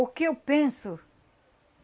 O que eu penso?